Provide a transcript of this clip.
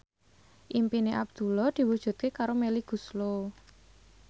impine Abdullah diwujudke karo Melly Goeslaw